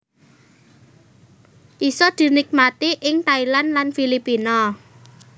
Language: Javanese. isa dinikmati ing Thailand lan Filipina